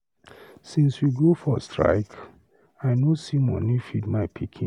Since we go for strike, I no see money feed my pikin.